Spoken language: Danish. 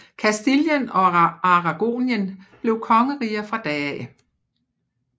Kastilien og Aragonien blev kongeriger fra da af